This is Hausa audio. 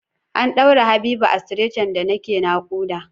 An ɗaura Habiba a stretcher da nake naƙuda.